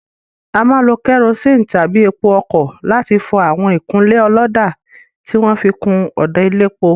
A máa ń lo kerosene tàbí epo ọkọ̀ láti fọ àwọn ìkunlé ọlọ́dà tí wọn fi kun ọ̀dà elépo.